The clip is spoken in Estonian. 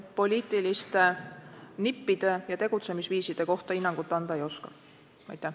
Poliitiliste nippide ja tegutsemisviiside kohta hinnangut anda ma aga ei oska.